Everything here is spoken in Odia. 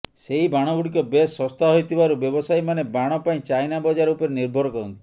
ସେହି ବାଣଗୁଡିକ ବେଶ୍ ଶସ୍ତା ହୋଇଥିବାରୁ ବ୍ୟବସାୟୀମାନେ ବାଣ ପାଇଁ ଚାଇନା ବଜାର ଉପରେ ନିର୍ଭର କରନ୍ତି